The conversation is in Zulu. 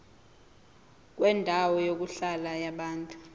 kwendawo yokuhlala yabantu